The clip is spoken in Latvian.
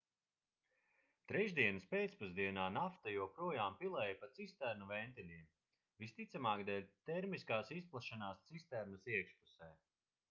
trešdienas pēcpusdienā nafta joprojām pilēja pa cisternu ventiļiem visticamāk dēļ termiskās izplešanās cisternas iekšpusē